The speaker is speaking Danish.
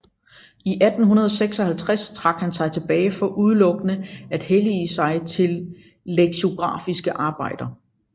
I 1856 trak han sig tilbage for udelukkende at hellige sig til leksikografiske arbejder